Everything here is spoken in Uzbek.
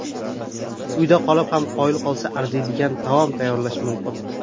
Uyda qolib ham qoyil qolsa arziydigan taom tayyorlash mumkin.